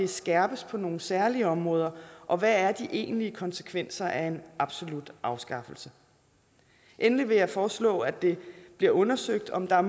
skærpes på nogle særlige områder og hvad er de egentlige konsekvenser af en absolut afskaffelse endelig vil jeg foreslå at det bliver undersøgt om der er